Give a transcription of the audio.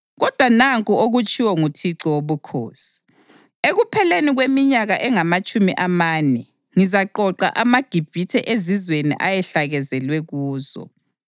Kodwa nanku okutshiwo nguThixo Wobukhosi: Ekupheleni kweminyaka engamatshumi amane ngizaqoqa amaGibhithe ezizweni ayehlakazelwe kuzo.